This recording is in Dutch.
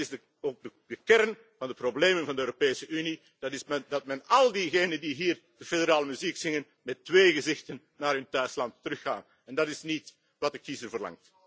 land. Dat is ook de kern van de problemen van de Europese Unie, dat al diegenen die hier de federale muziek zingen met twee gezichten naar hun thuisland teruggaan en dat is niet wat de kiezer verlangt.